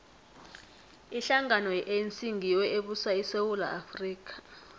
ihlangano ye anc ngiyo ebusa isewula afrika